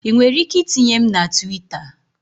Ị nwere ike itinye m na Twita?